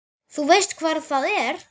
Þú veist hvar það er?